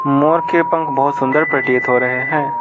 मोर के पंख बहुत सुंदर प्रतीत हो रहे हैं।